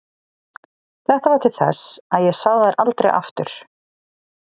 Þetta varð til þess að ég sá þær aldrei aftur.